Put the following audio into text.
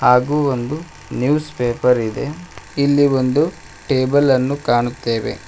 ಹಾಗೂ ಒಂದು newspaper ಇದೆ ಇಲ್ಲಿ ಒಂದು ಟೇಬಲ್ ಅನ್ನು ಕಾಣುತ್ತೇವೆ.